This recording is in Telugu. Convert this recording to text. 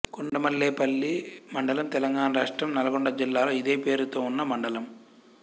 కొండమల్లేపల్లి మండలంతెలంగాణ రాష్ట్రం నల్గొండ జిల్లాలో ఇదే పేరుతో ఉన్న మండలం